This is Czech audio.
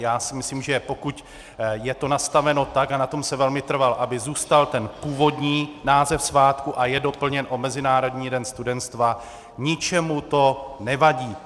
Já si myslím, že pokud je to nastaveno tak, a na tom jsem velmi trval, aby zůstal ten původní název svátku, a je doplněn o Mezinárodní den studenstva, ničemu to nevadí.